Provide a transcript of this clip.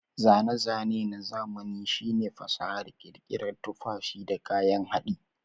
Zane-zane na zamani shine fasahar ƙirƙirar tufafi da kayan haɗi.